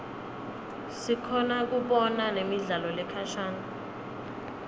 sikhona kubona nemidlalo lekhashane